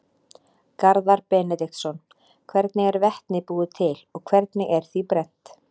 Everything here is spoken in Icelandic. Garðar Benediktsson: Hvernig er vetni búið til og hvernig er því brennt?